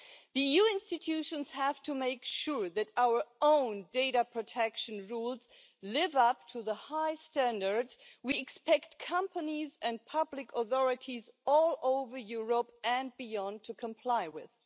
The EU institutions have to make sure that our own data protection rules live up to the high standards that we expect companies and public authorities all over Europe and beyond to comply with.